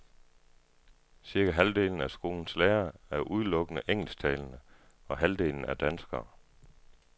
Cirka halvdelen af skolens lærere er udelukkende engelsktalende, og halvdelen er danskere.